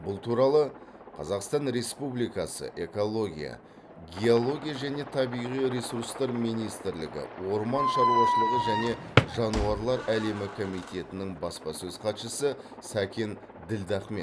бұл туралы қазақстан республикасы экология геология және табиғи ресурстар министрлігі орман шаруашылығы және жануарлар әлемі комитетінің баспасөз хатшысы сәкен ділдахмет